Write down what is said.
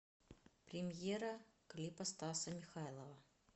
премьера клипа стаса михайлова